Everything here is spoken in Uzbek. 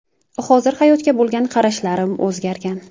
Hozir hayotga bo‘lgan qarashlarim o‘zgargan.